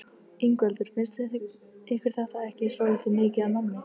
Ingveldur: Finnst ykkur þetta ekki svolítið mikið af nammi?